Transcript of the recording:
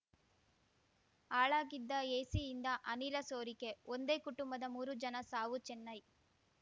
ಹಾಳಾಗಿದ್ದ ಏಸಿಯಿಂದ ಅನಿಲ ಸೋರಿಕೆ ಒಂದೇ ಕುಟುಂಬದ ಮೂರು ಜನ ಸಾವು ಚೆನ್ನೈ